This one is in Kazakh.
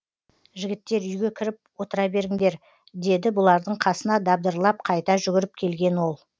жігіттер үйге кіріп отыра беріңдер деді бұлардың қасына дабдырлап қайта жүгіріп келген ол